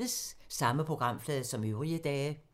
Samme programflade som øvrige dage